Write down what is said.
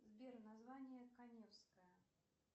сбер название каневская